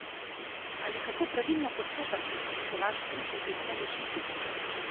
Ali kako pravilno postopati, če se vaš bližnji prične dušiti?